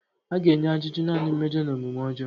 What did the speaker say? A ga-enye ajụjụ naanị mmejọ na omume ọjọọ.